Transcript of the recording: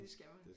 Det skal man